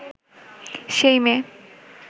সেই মেয়ে